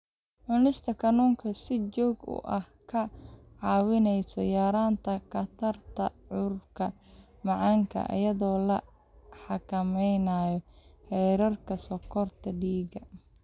Cunista kalluunka si joogto ah waxay kaa caawinaysaa yaraynta khatarta cudurka macaanka iyadoo la xakameynayo heerarka sonkorta dhiigga.